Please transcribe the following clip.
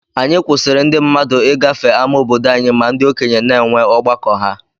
Anyi kwụsiri ndi mmadụ igafe ama obodo anyi ma ndi okenye na enwe ọgbakọ ha.